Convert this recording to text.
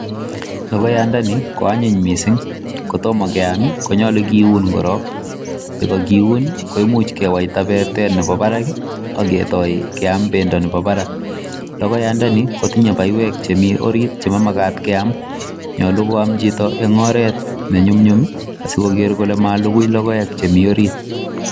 Logoyandani koanyiny mising, kotomo keam, konyolu kiun korong. Ye kagiun koimuch kewaita bertet nebo barak ak kotoi keam bendo nebo barak logoyandani kotinye chemi orit chemamagat keam nyolu koam chito en oret nenyumnyum asikoker kole malukui logoek chemi orit